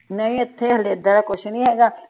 ਨਹੀਂ ਇਥੇ ਹਲੇ ਏਦਾਂ ਦਾ ਕੁਛ ਨਹੀ ਹੇਗਾ।